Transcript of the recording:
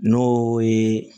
N'o ye